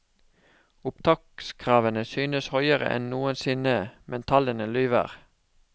Opptakskravene synes høyere enn noensinne, men tallene lyver.